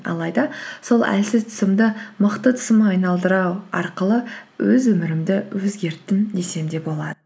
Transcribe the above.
алайда сол әлсіз тұсымды мықты тұсыма айналдыру арқылы өз өмірімді өзгерттім десем де болады